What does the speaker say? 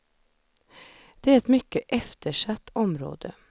Det är ett mycket eftersatt område.